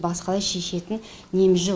басқадай шешетін неміз жоқ